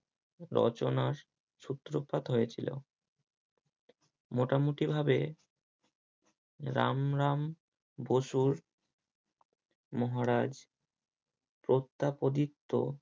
রচনার সূত্রপাত হয়েছিল মোটামুটি ভাবে রাম রাম বসুর মহারাজ পত্যাপদিত্য